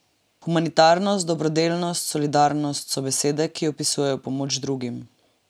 Humanitarnost, dobrodelnost, solidarnost so besede, ki opisujejo pomoč drugim.